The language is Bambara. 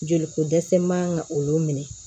Joli ko dɛsɛ man ka olu minɛ